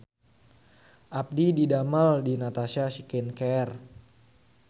Abdi didamel di Natasha Skin Care